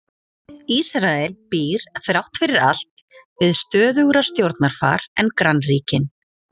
Ísrael býr þrátt fyrir allt við stöðugra stjórnarfar en grannríkin.